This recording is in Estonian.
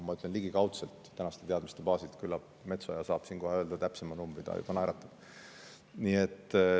Ma ütlen ligikaudselt tänaste teadmiste baasilt, küllap Metsoja saab siin kohe öelda täpsema numbri, ta juba naeratab.